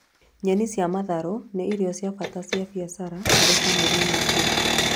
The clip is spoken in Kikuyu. Nyeni cia matharũ nĩ irio cia bata cia biacara harĩ bamĩri nyingi